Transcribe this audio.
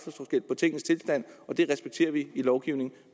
at det respekterer vi i lovgivningen